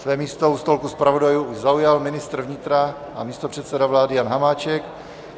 Své místo u stolku zpravodajů už zaujal ministr vnitra a místopředseda vlády Jan Hamáček.